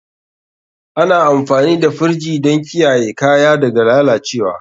Ana amfani da firji don kiyaye kaya daga lalacewa.